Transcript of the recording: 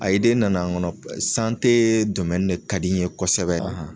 A ide nana n kɔnɔ sante domɛni de ka di ye kosɛbɛ